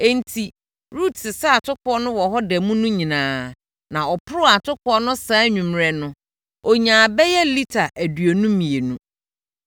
Enti, Rut sesaa atokoɔ no wɔ hɔ da mu no nyinaa na ɔporoo atokoɔ no saa anwummerɛ no, ɔnyaa bɛyɛ lita aduonu mmienu.